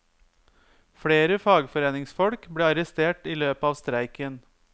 Flere fagforeningsfolk ble arrestert i løpet av streiken.